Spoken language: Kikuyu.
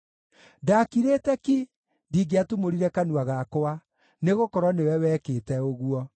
Ndakirĩte ki; ndingĩatumũrire kanua gakwa, nĩgũkorwo nĩwe wekĩte ũguo.